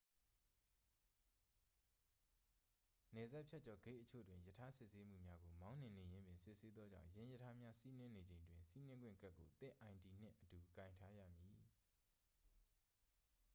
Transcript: နယ်စပ်ဖြတ်ကျော်ဂိတ်အချို့တွင် ရထား စစ်ဆေးမှုများကို မောင်းနှင်နေရင်းပင် စစ်ဆေးသောကြောင်း ယင်းရထားများ စီးနင်းနေချိန်တွင် စီးနင်းခွင့်ကတ်ကို သင့် id နှင့်အတူ ကိုင်ထားရမည်